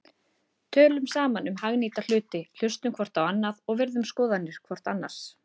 Tölum saman um hagnýta hluti, hlustum hvort á annað og virðum skoðanir hvort annars.